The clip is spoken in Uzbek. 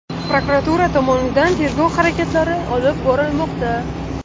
Prokuratura tomonidan tergov harakatlari olib borilmoqda.